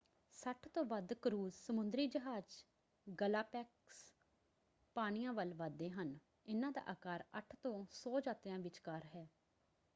60 ਤੋਂ ਵੱਧ ਕਰੂਜ਼ ਸਮੁੰਦਰੀ ਜਹਾਜ਼ ਗਲਾਪੈਗਸ ਪਾਣੀਆਂ ਵੱਲ ਵੱਧਦੇ ਹਨ – ਇਹਨਾਂ ਦਾ ਆਕਾਰ 8 ਤੋਂ 100 ਯਾਤਰੀਆਂ ਵਿਚਕਾਰ ਹੈ।